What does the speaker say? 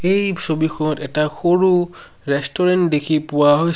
এই ছবিখত এটা সৰু ৰেষ্টুৰেণ্ট দেখি পোৱা